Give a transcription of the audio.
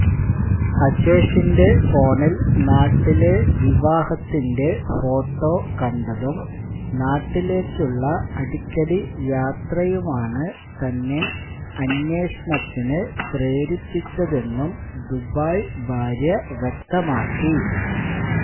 അജേഷിന്റെ ഫോണില് നാട്ടിലെ വിവാഹത്തിന്റെ ഫോട്ടോ കണ്ടതും നാട്ടിലേക്കുള്ള അടിക്കടി യാത്രയുമാണ് തന്നെ അന്വേഷണത്തിനു പ്രേരിപ്പിച്ചതെന്നും ദുബായി ഭാര്യ വ്യക്തമാക്കി